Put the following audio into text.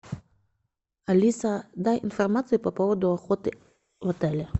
алиса дай информацию по поводу охоты в отеле